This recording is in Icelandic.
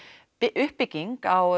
uppbygging á